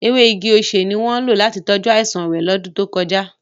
Ewe igi osé ni wọn lo lati tọju aisan re lọdun to koja.